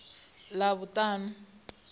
ḽavhuṱanu